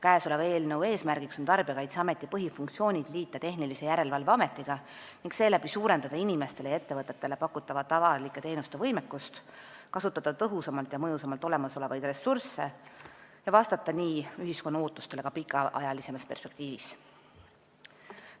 Eelnõu eesmärk on liita Tarbijakaitseameti põhifunktsioonid Tehnilise Järelevalve Ameti funktsioonidega ning seeläbi suurendada inimestele ja ettevõtetele pakutavate avalike teenuste võimekust, kasutada tõhusamalt ja mõjusamalt olemasolevaid ressursse ning vastata nii ühiskonna ootustele ka pikaajalisemas perspektiivis.